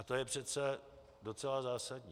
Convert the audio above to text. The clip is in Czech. A to je přece docela zásadní.